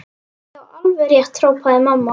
Já, alveg rétt hrópaði mamma.